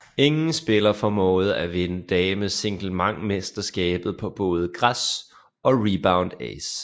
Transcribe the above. Ingen spillere formåede at vinde damesinglemesterskabet på både græs og Rebound Ace